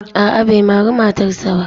A'a bai mari matarsa ba.